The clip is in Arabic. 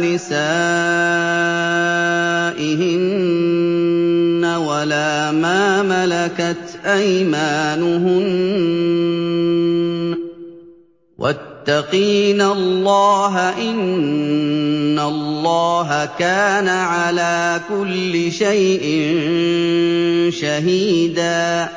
نِسَائِهِنَّ وَلَا مَا مَلَكَتْ أَيْمَانُهُنَّ ۗ وَاتَّقِينَ اللَّهَ ۚ إِنَّ اللَّهَ كَانَ عَلَىٰ كُلِّ شَيْءٍ شَهِيدًا